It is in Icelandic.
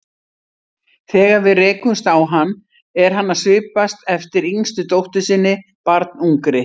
Þegar við rekumst á hann er hann að svipast eftir yngstu dóttur sinni, barnungri.